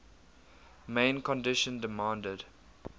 main condition demanded